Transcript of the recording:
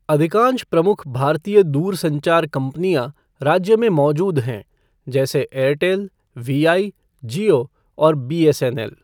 अधिकांश प्रमुख भारतीय दूरसंचार कंपनियाँ राज्य में मौजूद हैं, जैसे एयरटेल, वी आई , जियो और बीएसएनएल ।